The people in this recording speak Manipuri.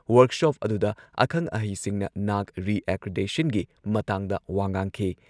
ꯋꯔꯛꯁꯣꯞ ꯑꯗꯨꯗ ꯑꯈꯪ-ꯑꯍꯩꯁꯤꯡꯅ ꯅꯥꯛ ꯔꯤꯑꯦꯀ꯭ꯔꯤꯗꯦꯁꯟꯒꯤ ꯃꯇꯥꯡꯗ ꯋꯥ ꯉꯥꯡꯈꯤ